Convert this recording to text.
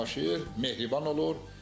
Yaşayır, mehriban olur.